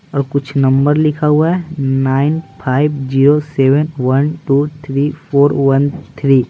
और कुछ नंबर लिखा हुआ है nine five zero seven one two three four one three.